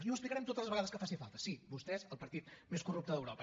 i ho explicarem totes les vegades que faci falta sí vostès el partit més corrupte d’europa